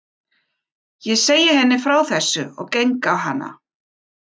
Ég segi henni frá þessu og geng á hana.